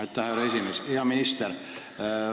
Aitäh, härra esimees!